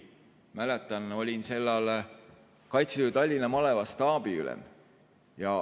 Mäletan, et olin sel ajal Kaitseliidu Tallinna maleva staabiülem.